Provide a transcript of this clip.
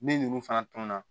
Min ninnu fana tun na